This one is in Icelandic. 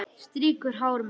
Strýkur hár mitt.